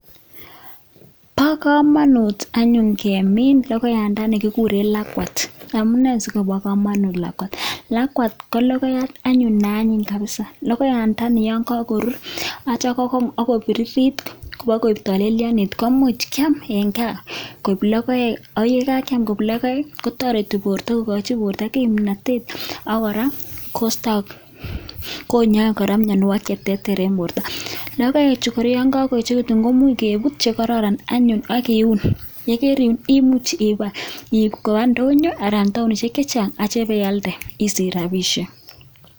Bo komonut anyun kemiin logoyandani kiguuren lakwat, amune sikoboo komonut lakwat ko ngamun lakwat ko logoyaat anyun neanyiny kabisa. Logoyaandani, yon kokorur, yeityoo KO kong ak kobiririt iboo koteleyoonit koimuch kiam en gaa koik logoek. Ak yekakiam koik love kotoretii bortoo kokochin bortoo kimnotet ak kora konyoe kora mianwogiik Che teeter en bortoo. Logoechu kora yon kakoyechekitun koimuch keebut chekororon anyun ak kiun, ye kariun koimuch iib koba ndonyoo anan taonisiek chechang yeityoo ibealdee ak isich rabisiek.